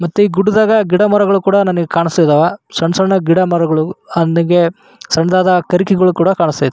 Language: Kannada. ಮತ್ತೆ ಈ ಗುಡ್ಡದಾಗ ಗಿಡ ಮರಗಳು ಕೂಡ ನಾನೀಗ ಕಾಣಸ್ತಿದವ ಸಣ್ಣ ಸಣ್ಣ ಗಿಡ ಮರಗಳು ಸಣ್ಣದಾದ ಕರ್ಕಿಗೋಳ ಕೂಡ ಕಾನಾಸ್ಥೆತಿ.